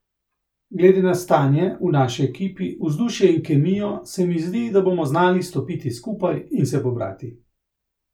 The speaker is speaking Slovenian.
Glede na stanje v naši ekipi, vzdušje in kemijo se mi zdi, da bomo znali stopiti skupaj in se pobrati.